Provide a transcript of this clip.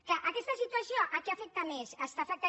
clar aquesta situació a qui afecta més està afectant